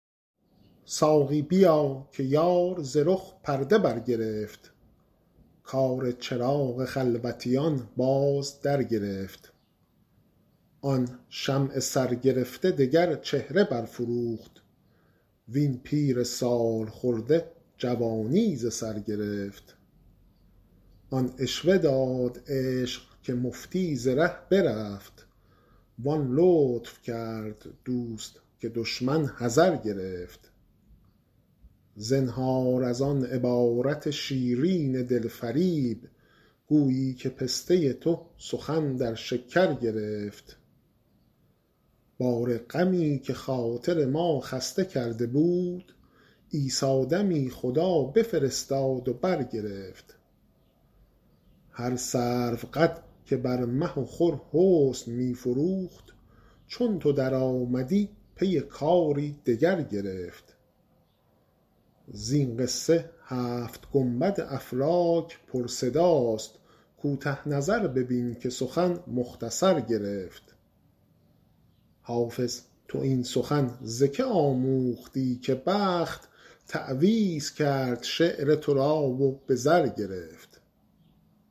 ساقی بیا که یار ز رخ پرده برگرفت کار چراغ خلوتیان باز درگرفت آن شمع سرگرفته دگر چهره برفروخت وین پیر سال خورده جوانی ز سر گرفت آن عشوه داد عشق که مفتی ز ره برفت وان لطف کرد دوست که دشمن حذر گرفت زنهار از آن عبارت شیرین دل فریب گویی که پسته تو سخن در شکر گرفت بار غمی که خاطر ما خسته کرده بود عیسی دمی خدا بفرستاد و برگرفت هر سروقد که بر مه و خور حسن می فروخت چون تو درآمدی پی کاری دگر گرفت زین قصه هفت گنبد افلاک پرصداست کوته نظر ببین که سخن مختصر گرفت حافظ تو این سخن ز که آموختی که بخت تعویذ کرد شعر تو را و به زر گرفت